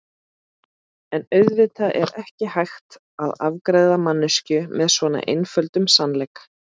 En auðvitað er ekki hægt að afgreiða manneskju með svo einföldum sannleik.